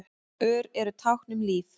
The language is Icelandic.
Ör eru tákn um líf.